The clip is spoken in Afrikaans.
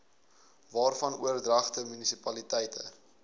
waarvan oordragte munisipaliteite